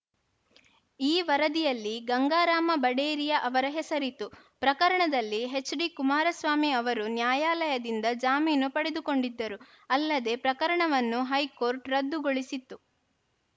ಈ ವರದಿಯಲ್ಲಿ ಗಂಗಾರಾಮ ಬಡೇರಿಯಾ ಅವರ ಹೆಸರಿತ್ತು ಪ್ರಕರಣದಲ್ಲಿ ಎಚ್‌ಡಿಕುಮಾರಸ್ವಾಮಿ ಅವರು ನ್ಯಾಯಾಲಯದಿಂದ ಜಾಮೀನು ಪಡೆದುಕೊಂಡಿದ್ದರು ಅಲ್ಲದೆ ಪ್ರಕರಣವವನ್ನು ಹೈಕೋರ್ಟ್‌ ರದ್ದಗೊಳಿಸಿತ್ತು